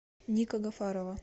ника гафарова